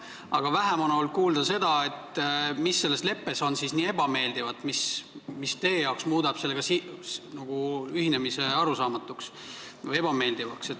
Aga vähem on olnud kuulda seda, mis selles leppes on siis nii ebameeldivat, mis teie jaoks muudab sellega ühinemise arusaamatuks või ebameeldivaks.